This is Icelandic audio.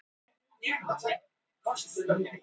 Hann sveigir því til vinstri á braut sinni.